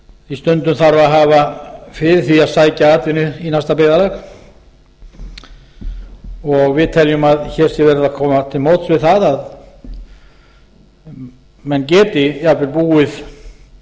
því stundum þarf að hafa fyrir því að sækja atvinnu í næsta byggðarlag og við teljum að hér sé verið að koma til móts við það að menn geti jafnvel búið